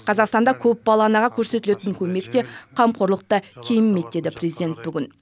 қазақстанда көпбалалы анаға көрсетілетін көмек те қамқорлық та кемімейді деді президент бүгін